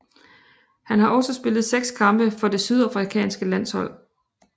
Han har også spillet seks kampe for det sydafrikanske landshold